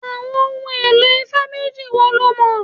Àwọn ohun èlò ifá méjì wo lo mọ̀?